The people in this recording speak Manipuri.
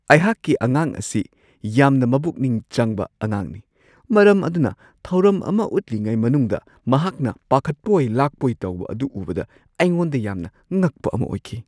ꯑꯩꯍꯥꯛꯀꯤ ꯑꯉꯥꯡ ꯑꯁꯤ ꯌꯥꯝꯅ ꯃꯕꯨꯛꯅꯤꯡ ꯆꯪꯕ ꯑꯉꯥꯡꯅꯤ, ꯃꯔꯝ ꯑꯗꯨꯅ ꯊꯧꯔꯝ ꯑꯃ ꯎꯠꯂꯤꯉꯩ ꯃꯅꯨꯡꯗ ꯃꯍꯥꯛꯅ ꯄꯥꯈꯠꯄꯣꯏ-ꯂꯥꯛꯄꯣꯏ ꯇꯧꯕ ꯑꯗꯨ ꯎꯕꯗ ꯑꯩꯉꯣꯟꯗ ꯌꯥꯝꯅ ꯉꯛꯄ ꯑꯃ ꯑꯣꯏꯈꯤ ꯫